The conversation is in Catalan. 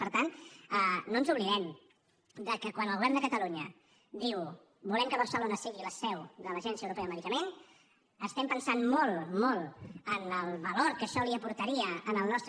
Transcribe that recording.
per tant no oblidem que quan el govern de catalunya diu volem que barcelona sigui la seu de l’agència europea del medicament estem pensant molt molt en el valor que això li aportaria al nostre